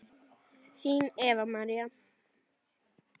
Þín Eva María.